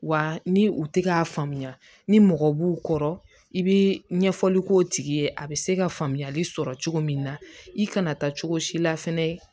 Wa ni u ti k'a faamuya ni mɔgɔ b'u kɔrɔ i bi ɲɛfɔli k'o tigi ye a be se ka faamuyali sɔrɔ cogo min na i kana taa cogo si la fɛnɛ